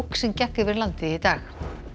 sem gekk yfir landið í dag